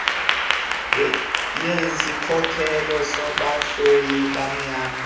yezikhokelo zabahloli benyama